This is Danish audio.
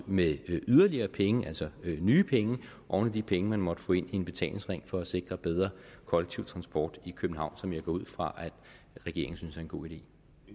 med yderligere penge altså nye penge oven i de penge man måtte få ind ved en betalingsring for at sikre bedre kollektiv transport i københavn som jeg går ud fra regeringen synes er en god idé